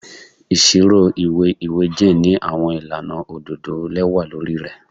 Iṣiro iwe iwẹ Jane ni awọn ilana ododo lẹwa lori rẹ